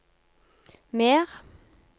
mer